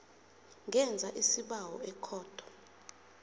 ngenza isibawo ekhotho